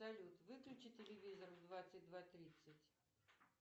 салют выключи телевизор в двадцать два тридцать